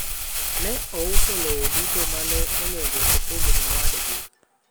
ne ouso lowo duto mane onego opog ni owadgi